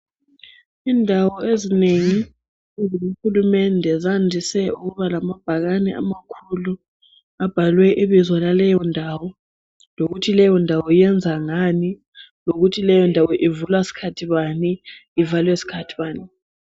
Indawo ezinengi ezikahulumende zandise ukuba lamabhakane amakhulu abhalwe ibizo laleyondawo lokuthi leyondawo yenza ngani lokuthi leyondawo ivulwa sikhathi bani ivalwe sikhathi bani .